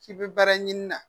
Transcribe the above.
K'i bɛ baara ɲini na